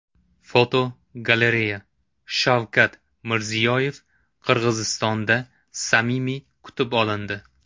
Fotogalereya: Shavkat Mirziyoyev Qirg‘izistonda samimiy kutib olindi.